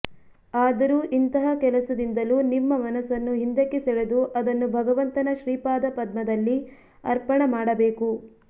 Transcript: ಆದರೂ ಇಂತಹ ಕೆಲಸದಿಂದಲೂ ನಿಮ್ಮ ಮನಸ್ಸನ್ನು ಹಿಂದಕ್ಕೆ ಸೆಳೆದು ಅದನ್ನು ಭಗವಂತನ ಶ್ರೀಪಾದಪದ್ಮದಲ್ಲಿ ಅರ್ಪಣಮಾಡಬೇಕು